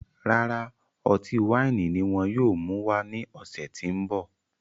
Rárá, ọtí waini ní wọn yóò mú wá ní ọsẹ ti n bọ